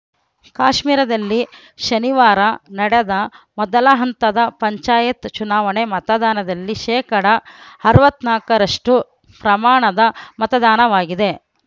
ಕಾಶ್ಮೀರದಲ್ಲಿ ಶನಿವಾರ ನಡೆದ ಮೊದಲ ಹಂತದ ಪಂಚಾಯತ್‌ ಚುನಾವಣೆ ಮತದಾನದಲ್ಲಿ ಶೇಕಡಾ ಅರವತ್ತ್ ನಾಕರಷ್ಟು ಪ್ರಮಾಣದ ಮತದಾನವಾಗಿದೆ